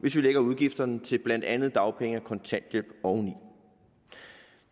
hvis vi lægger udgifterne til blandt andet dagpenge og kontanthjælp oveni